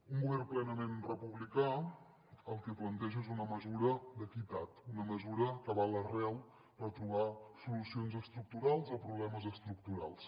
un govern plenament republicà el que planteja és una mesura d’equitat una mesura que va a l’arrel per trobar solucions estructurals a problemes estructurals